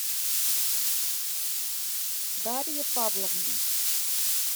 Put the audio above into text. дарье павловне